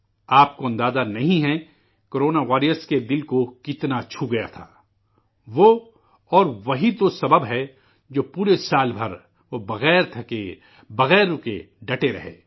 آپ کو اندازہ نہیں ہے کو رونا واریئر کے دل کو کتنا چھو گیا تھا وہ، اور، وہ ہی تو سبب ہے، جو پورےسال بھر، وہ ، بغیر تھکاوٹ محسوس کیے ، بغیر رکے، ڈٹے رہے